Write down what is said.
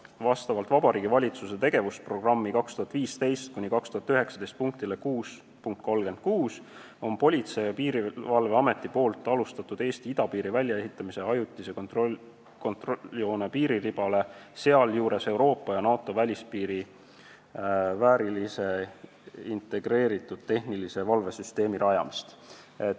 Vastavalt Vabariigi Valitsuse tegevusprogrammi 2015–2019 punktile 6.36 on Politsei- ja Piirivalveamet alustanud Eesti idapiiri väljaehitamist ajutise kontrolljoone piiriribale, sealjuures Euroopa ja NATO välispiirile väärilise integreeritud tehnilise valvesüsteemi rajamist.